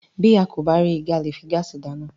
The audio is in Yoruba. Bí a kò bá rí igi, a leè fi gaasi dá iná.